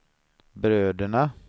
bröderna